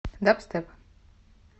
дабстеп